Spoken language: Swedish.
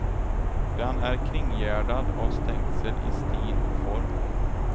Den är kringgärdad av stängsel i stil och form.